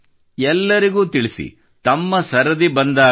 ಎಲ್ಲರಿಗೂ ತಿಳಿಸಿ ತಮ್ಮ ಸರದಿ ಬಂದಾಗ